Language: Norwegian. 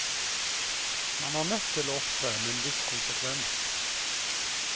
Man er nødt til å opptre med en viss konsekvens.